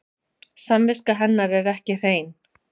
Samviska hennar er ekki hrein.